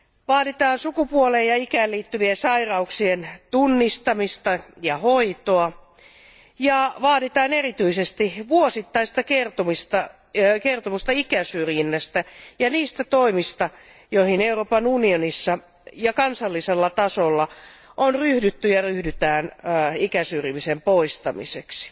Vaaditaan sukupuoleen ja ikään liittyvien sairauksien tunnistamista ja hoitoa, ja vaaditaan erityisesti vuosittaista kertomusta ikäsyrjinnästä ja niistä toimista, joihin Euroopan unionissa ja kansallisella tasolla on ryhdytty ja ryhdytään ikäsyrjinnän poistamiseksi.